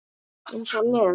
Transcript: Eins og Lena!